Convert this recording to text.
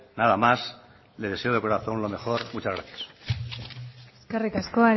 nada más les deseo de corazón lo mejor muchas gracias eskerik asko